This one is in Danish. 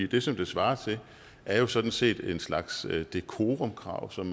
det som det svarer til er jo sådan set en slags decorumkrav som